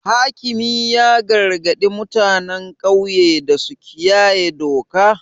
Hakimi ya gargadi mutanen ƙauye da su kiyaye doka.